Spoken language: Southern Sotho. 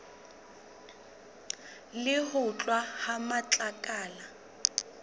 le ho tloswa ha matlakala